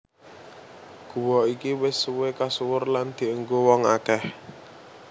Guwa iki wis suwé kasuwur lan dienggo wong akèh